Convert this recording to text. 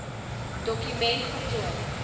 doku ment voltooi